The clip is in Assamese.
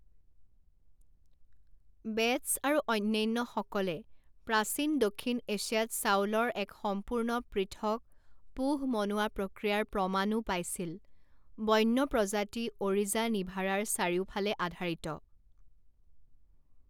বেটছ আৰু অন্যান্যসকলে প্ৰাচীন দক্ষিণ এছিয়াত চাউলৰ এক সম্পূৰ্ণ পৃথক পোহ মনোৱা প্ৰক্ৰিয়াৰ প্ৰমাণও পাইছিল বন্য প্ৰজাতি অ'ৰিজা নিভাৰাৰ চাৰিওফালে আধাৰিত।